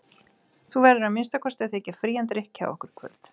Þú verður að minnsta kosti að þiggja frían drykk hjá okkur í kvöld.